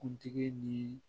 Kuntigi ni